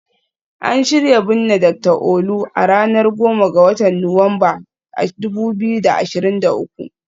An shirya binne Dr Olu, a ranar 10 ga Nuwamba, 2023